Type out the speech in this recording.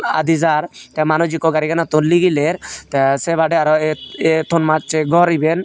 aadi jar tey manuj ikko gariganot nigiler tey sebadey aro e et tonamssey gor iben.